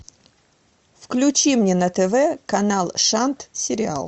включи мне на тв канал шант сериал